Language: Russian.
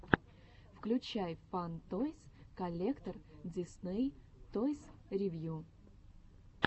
включай фан тойс коллектор дисней тойс ревью